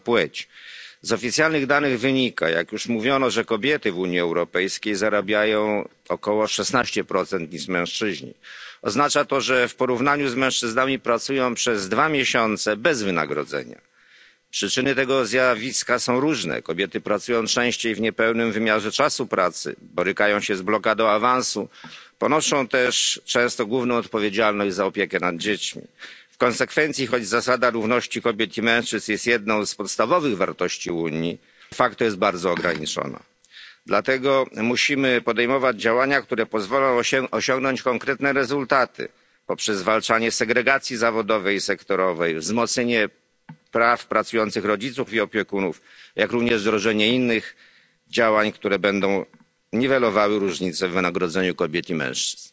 Poparłem rezolucję, ponieważ Unia musi podejmować działania niwelujące nieuzasadnione zróżnicowanie wynagradzania ze względu na płeć. Z oficjalnych danych wynika, jak już mówiono, że kobiety w Unii Europejskiej zarabiają około 16 mniej niż mężczyźni. Oznacza to, że w porównaniu z mężczyznami pracują przez dwa miesiące bez wynagrodzenia. Przyczyny tego zjawiska są różne, kobiety pracują częściej w niepełnym wymiarze czasu pracy, borykają się z blokadą awansu, ponoszą też często główną odpowiedzialność za opiekę nad dziećmi. W konsekwencji, choć zasada równości kobiet i mężczyzn jest jedną z podstawowych wartości Unii, to jest bardzo ograniczona. Dlatego musimy podejmować działania, które pozwolą osiągnąć konkretne rezultaty poprzez zwalczanie segregacji zawodowej i sektorowej, wzmocnienie praw pracujących rodziców i opiekunów, jak również wdrożenie innych działań, które będą niwelowały różnice w wynagrodzeniu kobiet i mężczyzn.